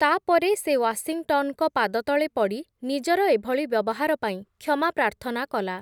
ତା’ପରେ ସେ ୱାଶିଂଟନ୍‌ଙ୍କ ପାଦତଳେ ପଡ଼ି ନିଜର ଏଭଳି ବ୍ୟବହାର ପାଇଁ କ୍ଷମା ପ୍ରାର୍ଥନା କଲା ।